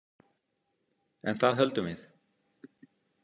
En það höldum við.